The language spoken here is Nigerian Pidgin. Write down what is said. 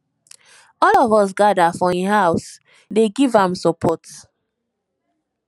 all of us gather for im house dey give am support